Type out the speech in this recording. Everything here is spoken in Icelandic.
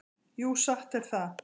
Jú, satt er það.